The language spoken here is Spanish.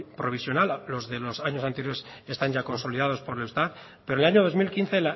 provisional los de los años anteriores están ya consolidados por el eustat pero el año dos mil quince